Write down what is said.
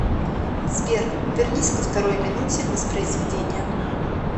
сбер вернись ко второй минуте воспроизведения